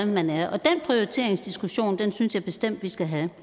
man er den prioriteringsdiskussion synes jeg bestemt vi skal have